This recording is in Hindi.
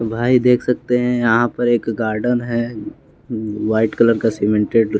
भाई देख सकते हैं यहाँ पर एक गार्डन है उ वाइट कलर का सीमेंटेड --